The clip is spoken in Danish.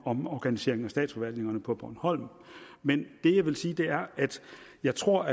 omorganiseringen af statsforvaltningerne på bornholm men det jeg vil sige er at jeg tror